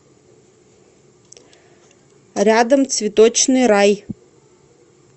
рядом цветочный рай